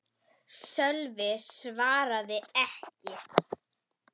Sölvi svaraði ekki.